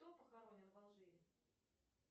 кто похоронен в алжире